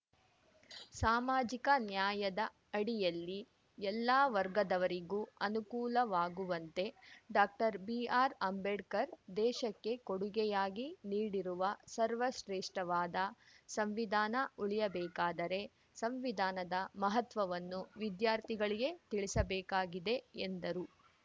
ಸಾಮಾಜಿಕ ನ್ಯಾಯದ ಅಡಿಯಲ್ಲಿ ಎಲ್ಲಾ ವರ್ಗದವರಿಗೂ ಅನುಕೂಲವಾಗುವಂತೆ ಡಾಕ್ಟರ್ಬಿಆರ್‌ಅಂಬೇಡ್ಕರ್‌ ದೇಶಕ್ಕೆ ಕೊಡುಗೆಯಾಗಿ ನೀಡಿರುವ ಸರ್ವಶ್ರೇಷ್ಠವಾದ ಸಂವಿಧಾನ ಉಳಿಯಬೇಕಾದರೆ ಸಂವಿಧಾನದ ಮಹತ್ವವನ್ನು ವಿದ್ಯಾರ್ಥಿಗಳಿಗೆ ತಿಳಿಸಬೇಕಾಗಿದೆ ಎಂದರು